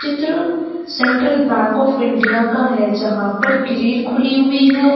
चित्र Central Bank of India का है जहां पर ग्रिल खुली हुई है।